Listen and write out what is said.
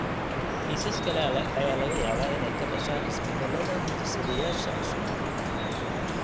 Kiisas kale ayaa laga yaabaa inay ka dhashaan isbeddellada hidde-sideyaasha cusub (de novo).